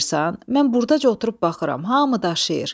Mən burdaca oturub baxıram, hamı daşıyır.